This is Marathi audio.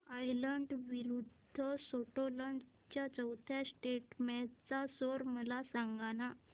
आयर्लंड विरूद्ध स्कॉटलंड च्या चौथ्या टेस्ट मॅच चा स्कोर मला सांगना